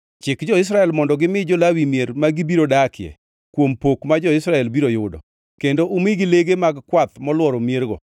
“Chik jo-Israel mondo gimi jo-Lawi mier ma gibiro dakie kuom pok ma jo-Israel biro yudo. Kendo umigi lege mag kwath molworo miergo.